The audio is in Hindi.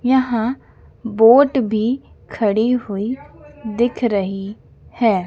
यहां बोट भी खड़ी हुई दिख रही है।